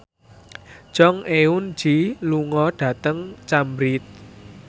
Jong Eun Ji lunga dhateng Cambridge